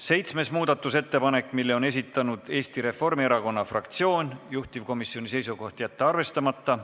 Seitsmes muudatusettepanek, mille on esitanud Eesti Reformierakonna fraktsioon, juhtivkomisjoni seisukoht: jätta arvestamata.